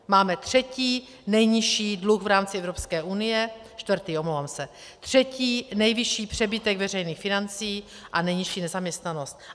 Máme třetí nejnižší dluh v rámci Evropské unie, čtvrtý, omlouvám se, třetí nejvyšší přebytek veřejných financí a nejnižší nezaměstnanost.